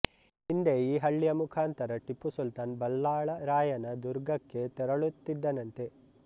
ಹಿಂದೆ ಈ ಹಳ್ಳಿಯ ಮುಖಾಂತರ ಟಿಪ್ಪುಸುಲ್ತಾನ್ ಬಲ್ಲಾಳ ರಾಯನ ದುರ್ಗಕ್ಕೆ ತೆರಳುತ್ತಿದ್ದನಂತೆ